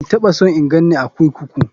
Ban taɓa son in ganni a kurkuku.